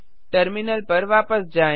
terminal पर वापस जाएँ